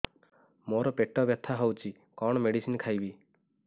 ମୋର ପେଟ ବ୍ୟଥା ହଉଚି କଣ ମେଡିସିନ ଖାଇବି